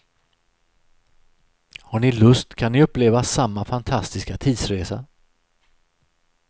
Har ni lust kan ni uppleva samma fantastiska tidsresa.